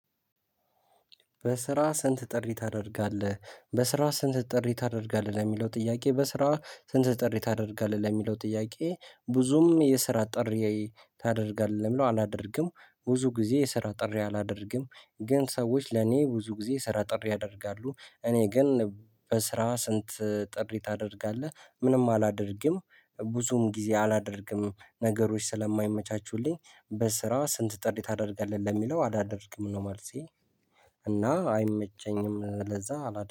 በስራ ስንት ጥሪ ታደርጋለህ? በስራ ስንት ጥሪ ታደርጋለህ? ለሚለው ጥያቄ በስራ ስንት ጥሪ ታደርጋለህ? ለሚለው ጥያቄ ብዙም የስራ ጥሪ በስራ ስንት ጥሪ ታደርጋለህ? በስራ ስንት ጥሪ ታደርጋለህ? ለሚለው ጥያቄ በስራ ስንት ጥሪ ታደርጋለህ? ለሚለው ጥያቄ ብዙም የስራ ጥሪ ብዙም ጊዜ አላደርግም። ነገሮች ስለማይመቻቹልኝ በስራ ስንት ጥሪ ታደርጋለህ ለሚለው አላደርግም ነው መልሴ። እና አይመቸኝም። ለዛ አላ